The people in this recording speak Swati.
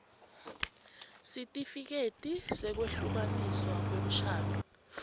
sitifiketi sekwehlukaniswa kwemshado